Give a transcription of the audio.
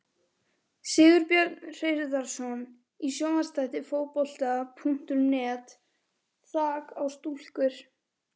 Sigurbjörn Hreiðarsson í sjónvarpsþætti Fótbolta.net: Þak á stúkur!?